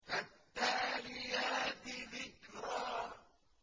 فَالتَّالِيَاتِ ذِكْرًا